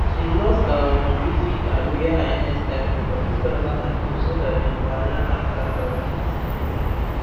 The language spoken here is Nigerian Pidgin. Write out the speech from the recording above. she lost her honorific her royal highness title for two thousand and two so dat dem go allow her start her own business